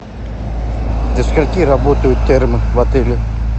до скольки работают термы в отеле